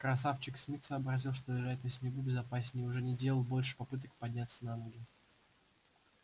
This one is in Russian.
красавчик смит сообразил что лежать на снегу безопаснее и уже не делал больше попыток подняться на ноги